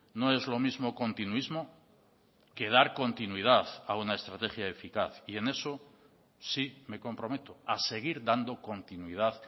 no es lo mismo continuismo que dar continuidad a una estrategia eficaz y en eso sí me comprometo a seguir dando continuidad